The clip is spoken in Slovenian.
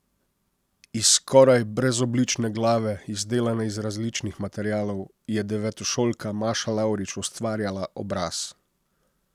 Iz skoraj brezoblične glave, izdelane iz različnih materialov, je devetošolka Maša Lavrič ustvarjala obraz.